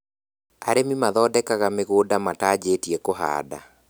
Arĩmi mathondekaga mĩgũnda mataanjĩtie kũhanda